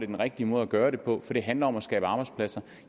den rigtige måde at gøre det på for det handler om at skabe arbejdspladser